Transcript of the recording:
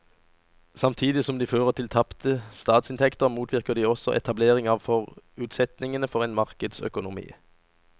Samtidig som de fører til tapte statsinntekter motvirker de også etablering av forutsetningene for en markedsøkonomi.